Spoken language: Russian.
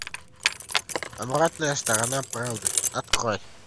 обратная сторона правды открой